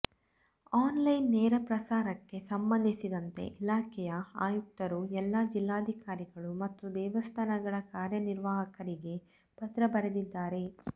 online ನೇರ ಪ್ರಸಾರಕ್ಕೆ ಸಂಬಂಧಿಸಿದಂತೆ ಇಲಾಖೆಯ ಆಯುಕ್ತರು ಎಲ್ಲ ಜಿಲ್ಲಾಧಿಕಾರಿಗಳು ಮತ್ತು ದೇವಸ್ಥಾನಗಳ ಕಾರ್ಯನಿರ್ವಾಹಕರಿಗೆ ಪತ್ರ ಬರೆದಿದ್ದಾರೆ